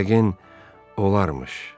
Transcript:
Yəqin olarmış.